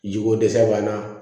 Jiko dɛsɛ b'an na